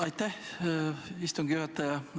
Aitäh, istungi juhataja!